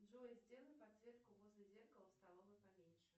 джой сделай подсветку возле зеркала в столовой поменьше